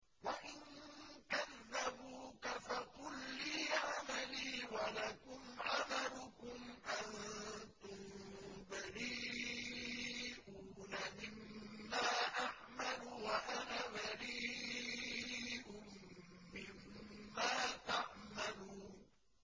وَإِن كَذَّبُوكَ فَقُل لِّي عَمَلِي وَلَكُمْ عَمَلُكُمْ ۖ أَنتُم بَرِيئُونَ مِمَّا أَعْمَلُ وَأَنَا بَرِيءٌ مِّمَّا تَعْمَلُونَ